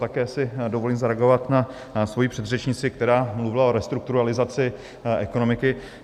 Také si dovolím zareagovat na svoji předřečnici, která mluvila o restrukturalizaci ekonomiky.